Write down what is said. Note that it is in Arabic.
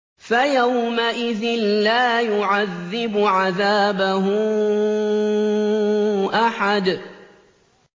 فَيَوْمَئِذٍ لَّا يُعَذِّبُ عَذَابَهُ أَحَدٌ